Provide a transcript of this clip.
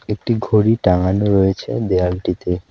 একটি ঘড়ি টানানো রয়েছে দেয়ালটিতে।